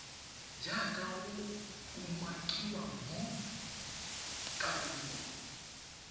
jaaka go umakiwa mo karolong